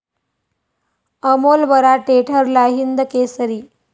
अमोल बराटे ठरला हिंदकेसरी